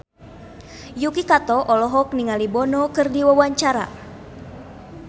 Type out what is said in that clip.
Yuki Kato olohok ningali Bono keur diwawancara